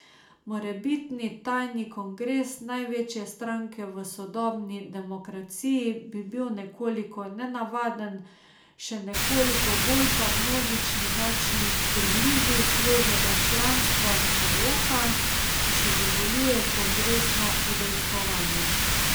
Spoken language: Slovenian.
Morebitni tajni kongres največje stranke v sodobni demokraciji bi bil nekoliko nenavaden, še nekoliko bolj pa množični nočni prilivi svežega članstva do roka, ki še dovoljuje kongresno udejstvovanje.